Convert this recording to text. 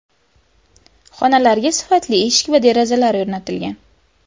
Xonalarga sifatli eshik va derazalar o‘rnatilgan.